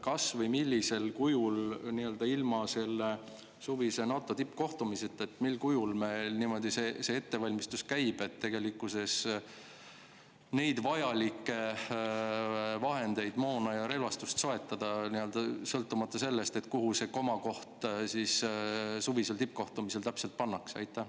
Kas või millisel kujul, ilma selle suvise NATO tippkohtumiseta, meil see ettevalmistus käib, et neid vajalikke vahendeid, moona ja relvastust soetada, sõltumata sellest, kuhu see komakoht suvisel tippkohtumisel täpselt pannakse?